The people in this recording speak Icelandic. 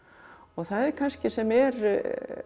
það er kannski sem er